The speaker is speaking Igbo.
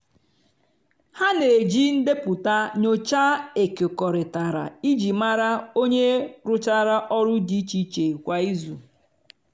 ha n'eji ndepụta nyocha ekekọrịtara iji mara onye rụchara ọlụ di iche iche kwa izu.